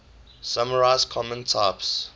summarize common types